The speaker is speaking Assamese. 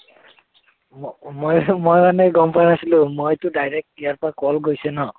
মই মই মানে গম পাই আছিলো মইটো direct ইয়াৰ পৰা call গৈছে ন